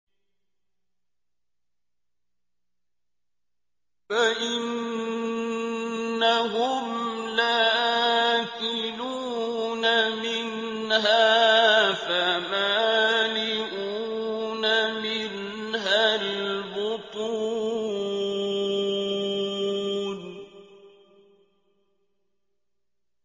فَإِنَّهُمْ لَآكِلُونَ مِنْهَا فَمَالِئُونَ مِنْهَا الْبُطُونَ